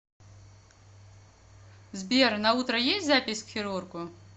сбер на утро есть запись к хирургу